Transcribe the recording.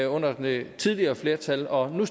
under det tidligere flertal og nu